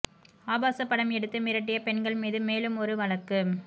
ஆபாச படம் எடுத்து மிரட்டிய பெண்கள் மீது மேலும் ஒரு வழக்கு